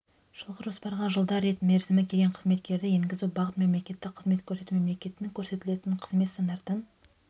жылғы жоспарға жылда рет мерзімі келген қызметкерлерді енгізу бағыт мемлекеттік қызмет көрсету мемлекеттік көрсетілетін қызмет стандартын